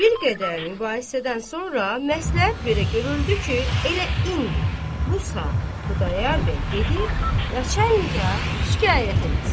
Bir qədər mübahisədən sonra məsləhət belə görüldü ki, elə indi bu saat Xudayar bəy gedib nəçənliyə şikayət eləsin.